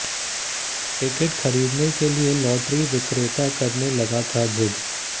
ticket खरीदने के लिए लॉटरी विक्रेता करने लगा था जिद